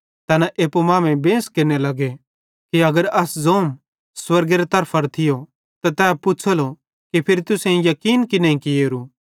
तैना एप्पू मांमेइं बेंस केरने लगे कि अगर अस ज़ोम स्वर्गेरे तरफां थियो त तै पुछ़ेलो कि फिरी तुसेईं याकीन की नईं कियेरू